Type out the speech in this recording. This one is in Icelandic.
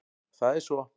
Það er svo.